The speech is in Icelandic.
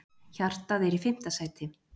Hjartað er í fimmta sæti.